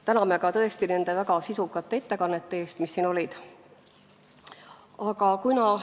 Täname ka tõesti nende väga sisukate ettekannete eest, mis siin olid!